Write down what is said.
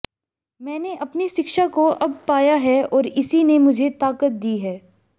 मैंने अपनी शिक्षा को अब पाया है और इसी ने मुझे ताकत दी है